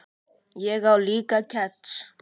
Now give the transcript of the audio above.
Ég á líka kex.